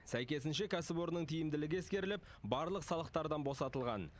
сәйкесінше кәсіпорынның тиімділігі ескеріліп барлық салықтардан босатылған